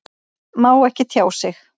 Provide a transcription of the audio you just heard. Má ekki tjá sig